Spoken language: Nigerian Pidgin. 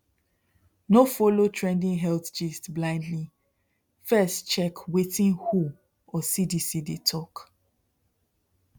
no follow trending health gist blindly first check wetin who or cdc dey talk